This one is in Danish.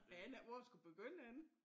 Jeg aner ikke hvor jeg skulle begynde henne